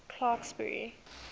clarksburry